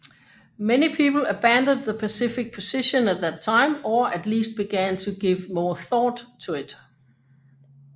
Many people abandoned the pacifist position at that time or at least began to give more thought to it